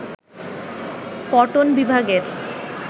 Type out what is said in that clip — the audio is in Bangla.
কটন বিভাগের